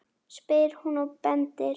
spyr hún og bendir.